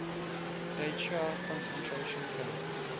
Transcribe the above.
dachau concentration camp